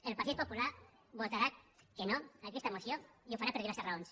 el partit popular votarà que no a aquesta moció i ho farà per diverses raons